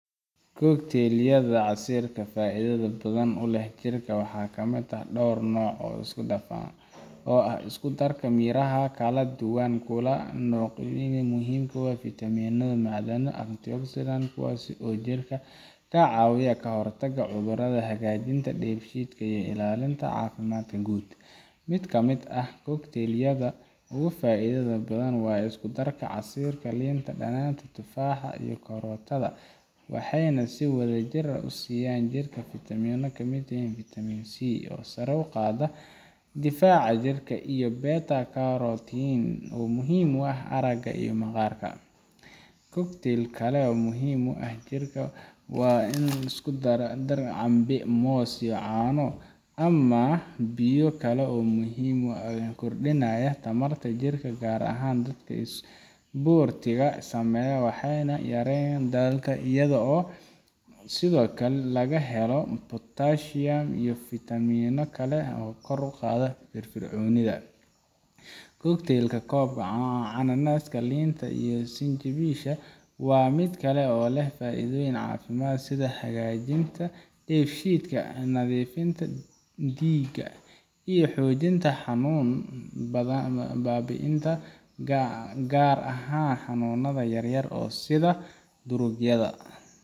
Cocktailyadha casiirka faidhedha badhan uleh jirka waxaa kamid ah door nooc oo sikudaqan oo ah iskudarka miraha kaladuwan kulanocyihin muhiim kuwa fitaminadha macdan antioxidant kuwaas oo jirka kacaawiya kahortaga cudhuradha hagaajinta diig shiidka iyo ilaalinta caafimadka guud. Mid kamid ah cocktailyadha faaidhada badan waa iskudarka casiirka liinta dagnaanta, tufaaxa iyo karootadha. Waxeyna si wadhajir ah usiyaan jirka fitamina kamiyahiin vitamin C oo sare uqaade difaaca jirka iyo beta carotene oo muhiim uah araga iyo maqaarka. Cocktail kale oo muhiim uah jirka waan in liskudara canbe moos iyo caan ama biyo kale oo muhiim uah kordinaya tamarta jirka gaar ahaan dadka isbortiga saameeya waxeyna yareyaan daalka iyaga oo sidhookale lagahelo potassium iyo fitamino kale oo kor uqaadhe firfircoonidha. Cocktailka kob cananaska liinta iyo sinjiniisha waa midkale oo leh faaidooyin caafimad sidha hagaajintadeef shiidka nadhiifinta diiga iyo xoojinta xanuun baabiinta gaar ahaan canuunadha yar yar oo sidha durugyadha.